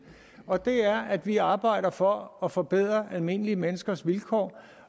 og det er at vi arbejder for at forbedre almindelige menneskers vilkår